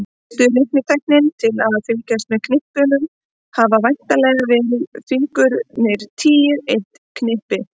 Fyrstu reiknitækin til að fylgjast með knippunum hafa væntanlega verið fingurnir tíu, eitt knippi.